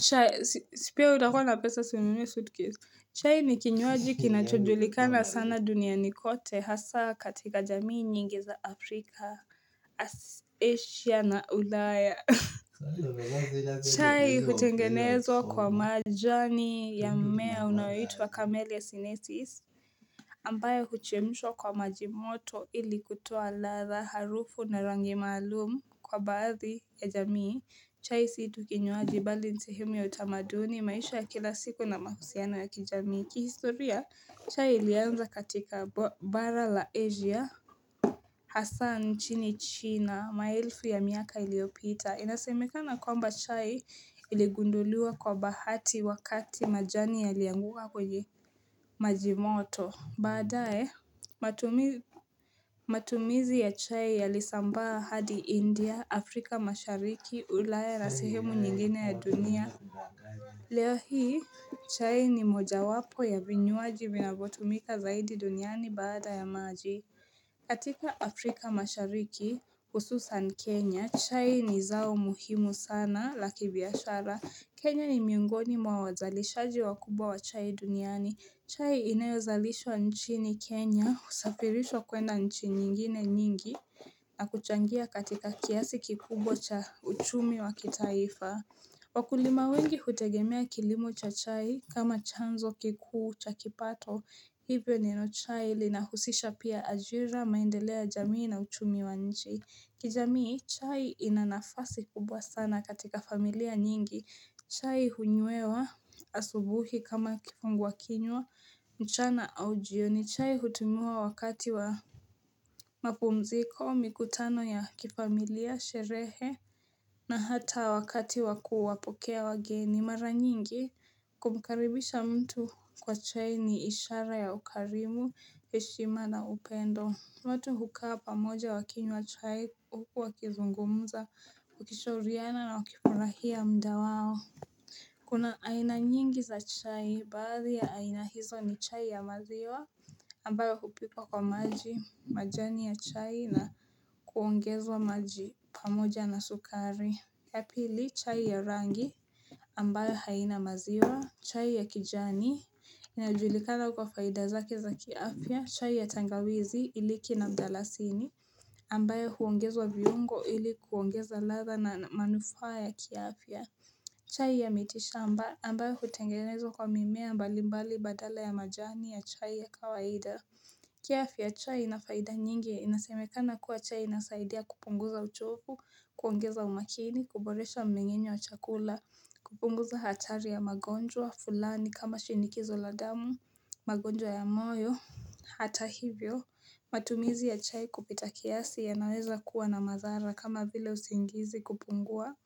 Chai, si pia wewe utakua na pesa si ununue suitcase. Chai ni kinywaji kinachojulikana sana duniani kote hasa katika jamii nyingi za Afrika, Asia na ulaya. Chai hutengenezwa kwa maji. Majani ya mmea unayo itwa Kamelia Cinesis, ambayo huchemshwa kwa maji moto ili kutoa ladha, harufu na rangi maalum, kwa baadhi ya jamii. Chai si tu kinywaji bali ni sehemu ya utamaduni, maisha ya kila siku, na mahusiano ya kijamii. Kihistoria, chai ilianza katika bara la Asia, hasaa nchini China, ma elfu ya miaka iliopita. Inasemekana kwamba chai iligunduliwa kwa bahati wakati majani yalianguka kwenye majimoto. Baadaye, matumizi ya chai yalisambaa hadi India, Afrika mashariki, ulaya na sehemu nyingine ya dunia. Leo hii, chai ni moja wapo ya vinywaji vinavyotumika zaidi duniani badaya maji. Katika Afrika mashariki hususan Kenya, chai ni zao muhimu sana la kibiashara. Kenya ni miongoni mwa wazalishaji wakubwa wa chai duniani. Chai inayo zalishwa nchini Kenya, husafirishwa kwenda nchi nyingine nyingi na kuchangia katika kiasi kikubwa cha uchumi wa kitaifa. Wakulima wengi hutegemea kilimo cha chai kama chanzo kikuu cha kipato, hivyo chai linahusisha pia ajira, maendelea jamii, na uchumi wa nchi. Kijamii, chai inanafasi kubwa sana katika familia nyingi. Chai hunyewa asubuhi kama kifungua kinywa, mchana au jioni. Chai hutumiwa wakati wa mapumziko, mikutano ya kifamilia, sherehe, na hata wakati wakuwapokea wageni mara nyingi Kumkaribisha mtu kwa chai ni ishara ya ukarimu, heshima na upendo. Watu hukaa pamoja wakinywa chai huku wakizungumza, wakishauriana na wakifurahia muda wao Kuna aina nyingi za chai baadhi ya aina hizo ni chai ya maziwa, ambayo hupikwa kwa maji, majani ya chai na kuongezwa maji pamoja na sukari. Ya pili, chai ya rangi ambayo haina maziwa, chai ya kijani inajulikana kwa faida zake za ki afia, chai ya tangawizi iliki na mdalasini ambayo huongezwa viuongo ili kuongeza ladha na manufaa ya kiafia chai ya miti shamba ambayo hutengenezwa kwa mimea mbali mbali badala ya majani ya chai ya kawaida kiafya, chai ina faida nyingi ya inasemekana kuwa chai inasaidia kupunguza uchofu, kuongeza umakini, kuboresha mmeng'enyo wa chakula, kupunguza hatari ya magonjwa, fulani kama shinikizo la damu, magonjwa ya moyo, hata hivyo, matumizi ya chai kupita kiasi yanaweza kuwa na madhara kama vile usingizi kupungua,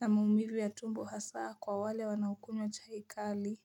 na maumivu ya tumbo hasa kwa wale wanaokunywa chai kali.